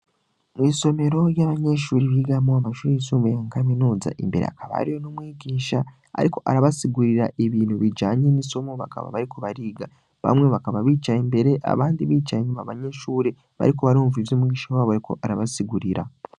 Mw'isomero ry'abanyenshuri bigamwo amashuri yisumbuye mu kaminuza imbere akabariyo n'umwigisha, ariko arabasigurira ibintu bijanye n'isomo bakaba bariku bariga bamwe bakaba bicaye imbere abandi bicaye nyuma banyeshuri bariku barumva ivyo umwinsha baboweko arabasigurira.